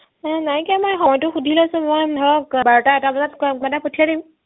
মোৰ নাইকীয়া মই সময়তো সুধি লৈছো মই ধৰক বাৰটা এটা বজাত কংকনক পঠিয়াই দিম